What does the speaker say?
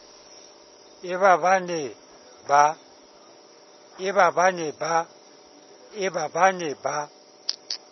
e ba ba ne ba